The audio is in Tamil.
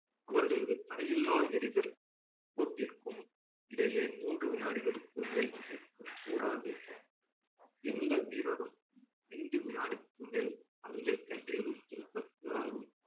அவர்களது தடையில்லா எரிதல் போட்டிருக்கும் இடையே மூன்று வினாடிகளுக்கு மேல் கூடாது எந்த வீரரும் ஐந்து வினாடிக்கு மேல் பந்தை கையில் வைத்திருக்கக் கூடாது